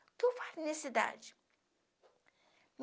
O que eu faço nessa idade?